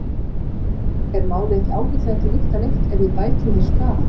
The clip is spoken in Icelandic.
Er málið ekki ágætlega til lykta leitt ef ég bæti þér skaðann?